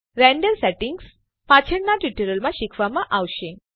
render settings પાછળના tutorial માં શીખવવામાં આવશે